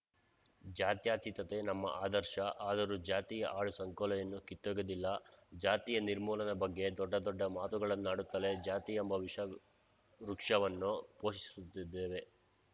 ಜ್ಯಾತ್ಯತೀತತೆ ನಮ್ಮ ಆದರ್ಶ ಆದರೂ ಜಾತಿಯ ಹಾಳು ಸಂಕೋಲೆಯನ್ನು ಕಿತ್ತೊಗೆದಿಲ್ಲ ಜಾತಿಯ ನಿರ್ಮೂಲನೆ ಬಗ್ಗೆ ದೊಡ್ಡ ದೊಡ್ಡ ಮಾತುಗಳನ್ನಾಡುತ್ತಲೇ ಜಾತಿಯೆಂಬ ವಿಷ ವೃಕ್ಷವನ್ನು ಪೋಷಿಸುತ್ತಿದ್ದೇವೆ